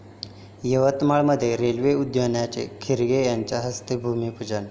यवतमाळमध्ये रेल्वे उद्यानाचं खर्गे यांच्या हस्ते भूमिपूजन